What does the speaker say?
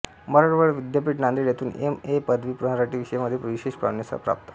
मराठवाडा विद्यापीठ नांदेड येथून M A पदवी मराठी विषयामध्ये विशेष प्रविण्यासह प्राप्त